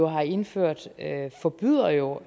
har indført forbyder jo